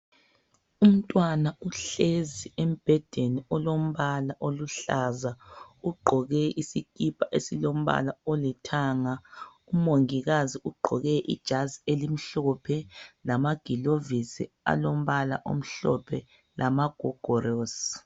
Umntwana uhlezi embhedeni olombala oluhlaza ugqoke isipa esilombala olithanga. Umongikazi ugqoke ijazi elimhlophe lamagilovisi alombala omhlophe lamagogolosi.